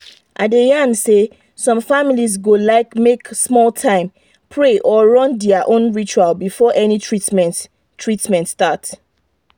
i dey yan say some families go like make small time pray or run their own ritual before any treatment treatment start